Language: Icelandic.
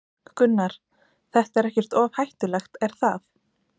Gunnar: Þetta er ekkert of hættulegt, er það?